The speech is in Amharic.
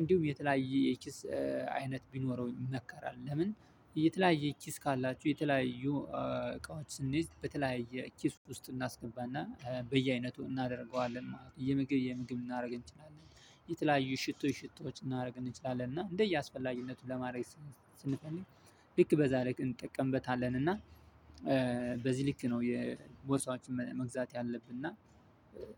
እንዲሁም የተለያየ የኪስ አይነት ቢኖረው ይመከራል። ለምን የተለያየ ኪስ ካላችሁ የተለያዩ እቃዎች ስንይዝ በተለያዩ ኪስ ውስጥ እናስገባና በየአይነቱ እናደርገዋለን ማለት ነው። የምግብ የምግብ ልናደርግ እንችላለን የተለያዩ ሽቶ ሽቶዎች እናደርግ እንችላለን እና እንደየ አስፈላጊነቱ ለማድረግ። ስንፈልግ ልክ በዛሬ ቀን እንጠቀምበታለን። እና በዚህ ልክ ነው። የቦርሳዎችን መግዛት ያለብን እና